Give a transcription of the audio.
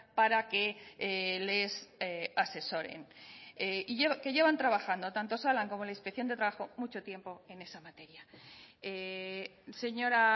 para que les asesore que llevan trabajando tanto osalan como la inspección de trabajo mucho tiempo en esa materia señora